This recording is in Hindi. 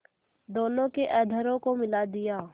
दोनों के अधरों को मिला दिया